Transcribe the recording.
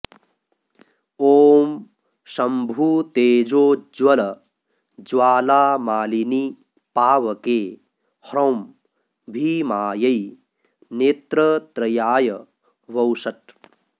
ॐ शम्भुतेजोज्वल ज्वालामालिनि पावके ह्रौं भीमायै नेत्रत्रयाय वौषट्